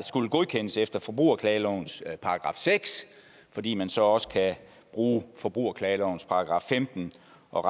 skulle godkendes efter forbrugerklagelovens § seks fordi man så også kunne bruge forbrugerklagelovens § femten og